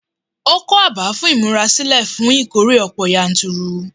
Ó kọ́ abà fún ìmúrasílẹ̀ fún ìkórè ọ̀pọ̀ yanturu.